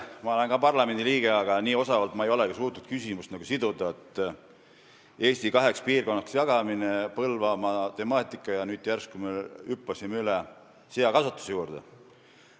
Ma olen ka parlamendiliige olnud, aga nii osavalt ei ole ma suutnud küsimusi siduda, et Eesti kaheks piirkonnaks jagamine, Põlvamaa temaatika ja nüüd järsku me hüppasime seakasvatuse juurde.